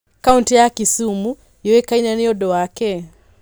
Kaũntĩ ya Kisumu yũĩkaine nĩ ũndũ wa kĩĩ?